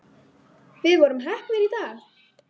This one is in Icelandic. Við vorum heppnir í dag